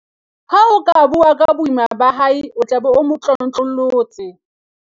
ha o ka bua ka boima ba hae o tla be o mo tlotlollotse